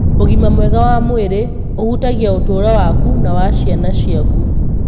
Ũgima mwega wa mwĩrĩ ũhutagia ũtũũro waku na wa ciana ciaku.